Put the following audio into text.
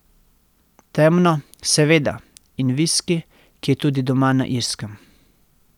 Temno, seveda, in viski, ki je tudi doma na Irskem.